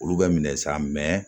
Olu bɛ minɛ sa mɛ